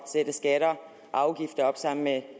sætte skatter og afgifter op sammen med